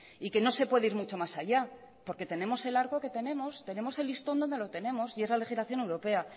y que no se puede ir mucho más allá porque tenemos el arco que tenemos tenemos el listón donde lo tenemos y es la legislación europea